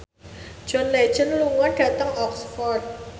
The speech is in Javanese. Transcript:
John Legend lunga dhateng Oxford